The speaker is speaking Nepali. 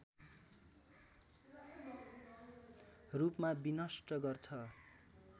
रूपमा विनष्ट गर्छ